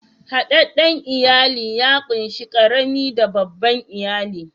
Hadadden iyali ya kunshi karami da babban iyali.